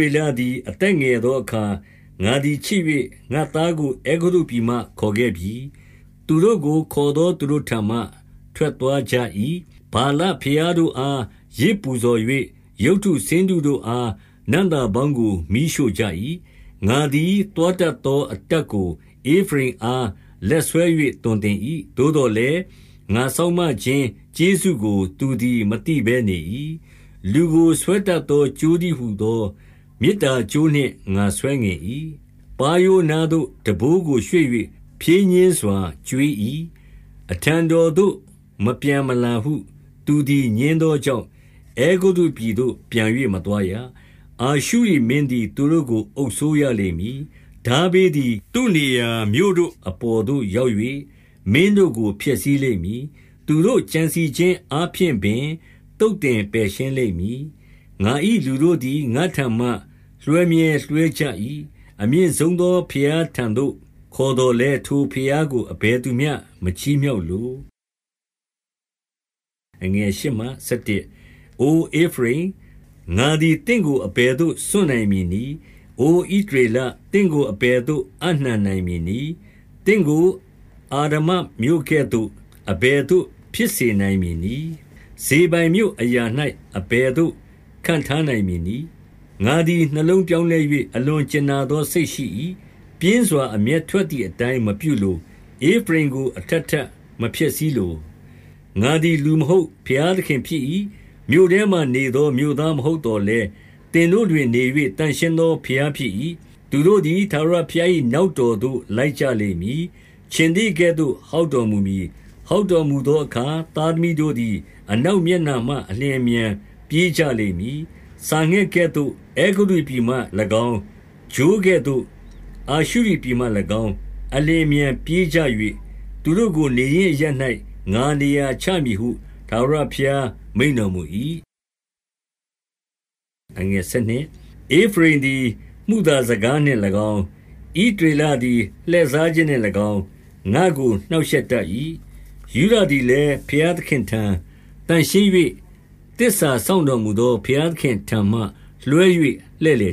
ေလသည် အသက်ငယ်သောအခါ ငါ သည် ချစ်၍ ငါ့သားကို အဲဂုတ္တုပြည်မှ ခေါ်ခဲ့ပြီ။ သူတို့ကို ခေါ်သော သူတို့ထံမှ ထွက်သွားကြ၏။ ဗာလဘုရားတို့အား ယဇ်ပူဇော်၍ ရုပ်တုဆင်းတုတို့အား နံ့သာပေါင်းကို မီးရှို့ကြ၏။ ငါသည် သွားတတ်သော အတတ်ကို ဧဖရိမ် အား လက်ဆွဲ၍ သွန်သင်၏။ သို့သော်လည်း၊ ငါစောင့်မ ခြင်း ကျေးဇူးကို သူသည် မသိဘဲ နေ၏။ လူကို ဆွဲတတ်သော ကြိုးတည်းဟူသော မေတ္တာ ကြိုးနှင့် ငါဆွဲငင်၏။ ပါးရိုးအနားသို့ ထမ်းဘိုးကို ရွှေ့၍ ဖြည်းညှင်းစွာ ကျွေး၏။ အထံတော်သို့ မပြန်မလာဟု သူသည် ငြင်း သောကြောင့်၊ အဲဂုတ္တုပြည်သို့ ပြန်၍မသွားရ။ အာရှုရိ မင်းသည် သူတို့ကို အုပ်စိုးရလိမ့်မည်။ ထားဘေးသည် သူ့နေရာမြို့တို့ အပေါ်သို့ ရောက်၍ မင်းတို့ကို ဖျက်ဆီးလိမ့်မည်။ သူတို့ ကြံစည်ခြင်း အားဖြင့်ပင် သုတ်သင်ပယ်ရှင်းလိမ့်မည်။ ငါ၏လူတို့သည် ငါ့ထံမှ လွှဲမြဲလွှဲကြ၏။ အမြင့် ဆုံးသော ဘုရားထံသို့ ခေါ်သော်လည်း၊ ထိုဘုရားကို အဘယ်သူမျှ မချီးမြှောက်လို။ အိုဧဖရိမ်၊ ငါသည် သင့်ကို အဘယ်သို့ စွန့်နိုင် မည်နည်း။ အိုဣသရေလ၊ သင့်ကို အဘယ်သို့ အပ်နှံနိုင် မည်နည်း။ သင့်ကို အာဒမာမြို့ကဲ့သို့ အဘယ်သို့ ဖြစ်စေ နိုင်မည်နည်း။ ဇေဘိုင်မြို့အရာ၌ အဘယ်သို့ ခန့်ထားနိုင် မည်နည်း။ ငါသည် နှလုံးပြောင်းလဲ၍ အလွန် ကြင်နာ သော စိတ်ရှိ၏။ ပြင်းစွာ အမျက်ထွက်သည်အတိုင်း မပြုလို။ ဧဖရိမ်ကို အထပ်ထပ်မဖျက်ဆီးလို။ ငါသည် လူမဟုတ်၊ ဘုရားသခင်ဖြစ်၏။ မြို့ထဲမှာနေသော မြို့သားမဟုတ် သော်လည်း၊ သင်တို့တွင်နေ၍ သန့်ရှင်းသော ဘုရား ဖြစ်၏။ သူတို့သည် ထာဝရဘုရား၏နောက်တော်သို့ လိုက်ကြလိမ့်မည်။ ခြင်္သေ့ကဲ့သို့ ဟောက်တော်မူမည်။ ဟောက်တော်မူသောအခါ သားသမီးတို့သည် အနောက် မျက်နှာမှအလျင်အမြန် ပြေးကြလိမ့်မည်။ စာငှက်ကဲ့သို့ အဲဂုတ္တုပြည်မှ၎င်း၊ ချိုးကဲ့သို့ အာရှု ရိပြည်မှ၎င်း အလျင်အမြန်ပြေးကြ၍၊ သူတို့ကို နေရင်း အရပ်၌ ငါနေရာချမည်ဟု ထာဝရဘုရား မိန့်တော်မူ၏။ ဧဖရိမ်သည် မုသာစကားနှင့်၎င်း၊ ဣသရေလ သည် လှည့်စားခြင်းနှင့်၎င်း ငါ့ကို နှောင့်ရှက်တတ်၏။ ယုဒသည်လည်း ဘုရားသခင့်ထံ၊ သန့်ရှင်း၍ သစ္စာစောင့် တော်မူသော ဘုရားသခင့်ထံမှ လွှဲ၍ လှည့်လ